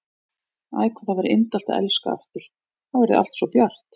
Æ, hvað það væri indælt að elska aftur, þá yrði allt svo bjart.